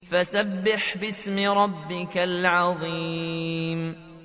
فَسَبِّحْ بِاسْمِ رَبِّكَ الْعَظِيمِ